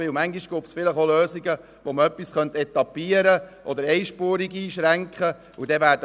Manchmal gäbe es vielleicht auch Lösungen, um Sanierungen etappiert oder mit einspuriger Einschränkung vorzunehmen.